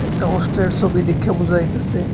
এটা হোস্টেলের ছবি দেইখ্যা বুঝা যাইতেসে।